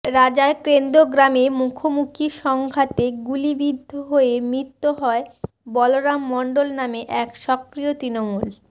রাজারকেন্দ গ্রামে মুখোমুখি সংঘাতে গুলিবিদ্ধ হয়ে মৃত্যু হয় বলরাম মণ্ডল নামে এক সক্রিয় তৃণমূল